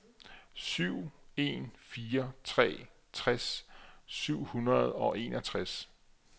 syv en fire tre tres syv hundrede og enogtres